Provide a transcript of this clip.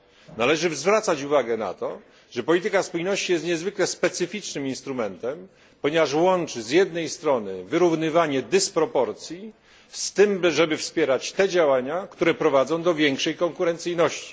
Należy zwracać uwagę na to, że polityka spójności jest niezwykle specyficznym instrumentem, ponieważ łączy z jednej strony wyrównywanie dysproporcji z tym wspieraniem działań, które prowadzą do większej konkurencyjności.